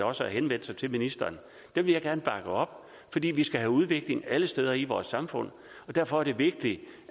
også har henvendt sig til ministeren dem vil jeg gerne bakke op fordi vi skal have udvikling alle steder i vores samfund derfor er det vigtigt